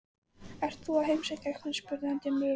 Ert þú að heimsækja einhvern? spurði hann dimmri röddu.